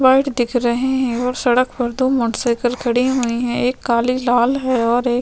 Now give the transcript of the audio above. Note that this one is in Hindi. व्हीर्ट दिख रहे है और सड़क पर दो मोटर साइकिल खड़ी हुई है एक काली लाल है और एक--